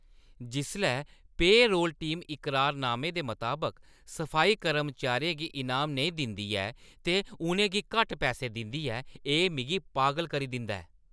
जिसलै payroll team इकरारनामे दे मताबक सफाई कर्मचारियें गी इनाम नेईं दिंदी ऐ ते उʼनें गी घट्ट पैसे दिंदी ऐ, एह् मिगी पागल करी दिंदा ऐ ।